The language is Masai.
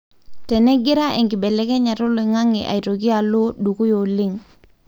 tenengira enkibelekenyata oloingange aitoki alo dukuya oleng